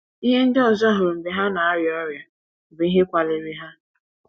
Ihe ndị ọzọ hụrụ mgbe ha na - arịa ọrịa bụ ihe kwaliri ha.